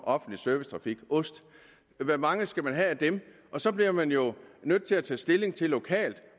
offentlig servicetrafik ost hvor mange skal man have af dem og så bliver man jo nødt til at tage stilling til lokalt